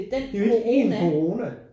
Det er jo ikke en corona